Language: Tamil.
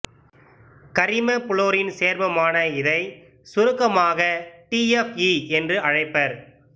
கரிம புளோரின் சேர்மமான இதை சுருக்கமாக டி எப் ஈ என்று அழைப்பர்